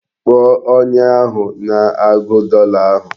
Kpọọ onye ahụ na-agụ dọla ahụ!